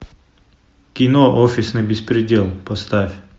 кино офисный беспредел поставь